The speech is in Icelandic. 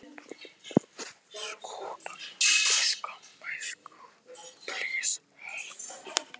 Af hverju tökum við frekar mark á orðum hjá einum manni frekar en öðrum?